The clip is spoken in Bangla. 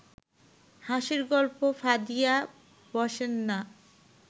হাসির গল্প ফাঁদিয়া বসেন না